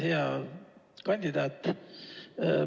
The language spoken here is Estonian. Hea kandidaat!